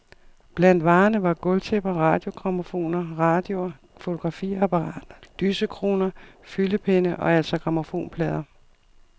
Blandt varerne var gulvtæpper, radiogrammofoner, radioer, fotografiapperater, lysekroner, fyldepenne og altså grammofonplader.